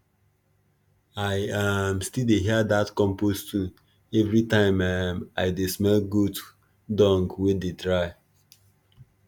i um still dey hear dat compost tune every time um i dey smell goat dung wey dey dry